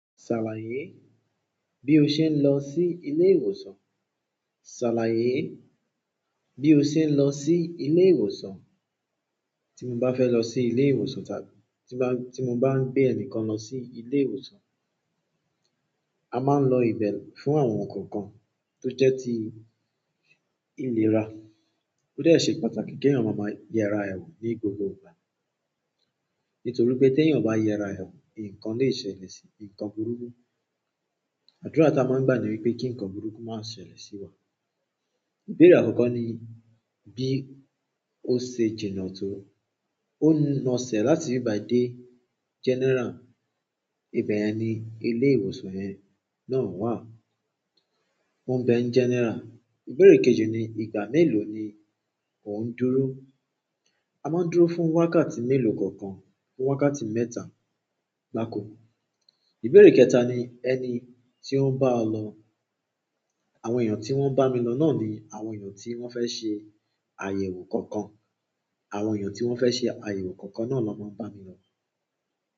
"Ṣàlàyé bí o ṣe ń lọ sí ilé ìwòsàn?" "Ṣàlàyé bí o ṣe ń lọ sí ilé ìwòsàn?" Tí mo bá fẹ́ lọ sí ilé ìwòsàn tàbí tí mo bá ń gbé ẹnìkan lọ sí ilé ìwòsàn, a máa ń lo ìbẹ̀ fún àwọn ǹkan kan tó jẹ́ ti ìlera. Ó dẹ́ ṣe pàtàkì kí ẹ̀yàn máa mọ yẹrẹ ẹ̀ wò ní gbogbo ìgbà. Nítorí pé tí ẹ̀yàn ò bá yẹra ẹ̀ wò, nǹkan lè ṣẹlẹ̀ sí nǹkan burúkú. Àdúrà tí a máa ń gbà ni wípé kí ǹkan burúkú má ṣe ṣẹlẹ̀ sí wa. Ìbéèrè àkọ́kọ́ ni bí ó ṣe jìnà tó. Ó ń lọ sẹ̀ láti ibí bàyí dé general. Ibẹ̀yẹn ni ilé ìwòsàn yẹn náà wà. Wọn ń bẹ̀ ń general. Ìbéèrè kejì ni, ìgbà méèló ni ò ń júró. A máa ń dúró fún wákàtí mélòó kankan, fún wákàtí mẹ́ta gbáko. Ìbéèrè kẹta ni ẹni tí ó ń bá ọ lọ. Àwọn èèyàn tí wọ́n ń bá mi lọ náà ni àwọn èèyàn tí wọ́n fẹ́ ṣe àyẹ̀wò kankan. Àwọn èèyàn tí wọ́n fẹ́ ṣe àyẹ̀wò kankan náà ló máa ń bá mi lọ.